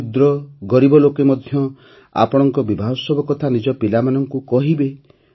କ୍ଷୁଦ୍ର ଗରିବ ଲୋକେ ମଧ୍ୟ ଆପଣଙ୍କ ବିବାହୋତ୍ସବ କଥା ନିଜ ପିଲାମାନଙ୍କୁ କହିବେ